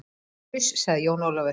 Uss, sagði Jón Ólafur.